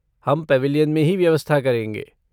हम पेविलियन में ही व्यवस्था करेंगे।